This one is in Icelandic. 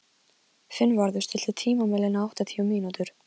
Finnvarður, stilltu tímamælinn á áttatíu mínútur.